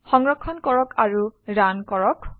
সংৰক্ষণ কৰক আৰু ৰান কৰক